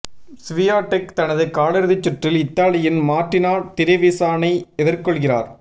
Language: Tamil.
ஸ்வியாடெக் தனது காலிறுதிச் சுற்றில் இத்தாலியின் மாா்டினா டிரெவிசானை எதிா்கொள்கிறாா்